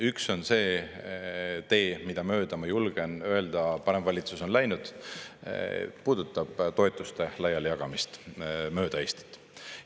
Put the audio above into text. Üks tee – mida mööda, ma julgen öelda, paremvalitsus on läinud – puudutab toetuste laialijagamist mööda Eestit.